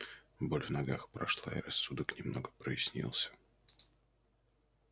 боль в ногах прошла и рассудок немного прояснился